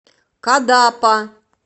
кадапа